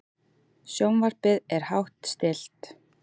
Sjónvarpið er hátt stillt.